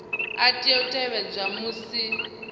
a tea u tevhedzwa musi